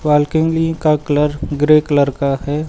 Balcony का colour grey colour का है।